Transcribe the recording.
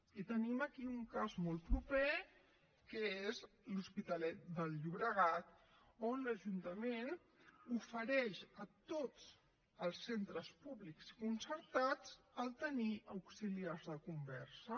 i tenim aquí un cas molt proper que és l’hospitalet del llobregat on l’ajuntament ofereix a tots els centres públics i concertats tenir auxiliars de conversa